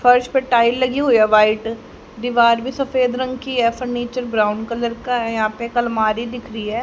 फर्श पर टाइल लगी हुई है व्हाइट दीवार भी सफेद रंग की है फर्नीचर ब्राउन कलर का है यहां पे एक अलमारी दिख रही है।